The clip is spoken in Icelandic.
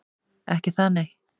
Ekki það, nei?